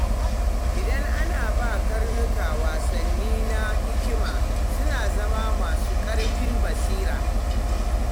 Idan ana ba karnuka wasanni na hikima, suna zama masu kaifin basira.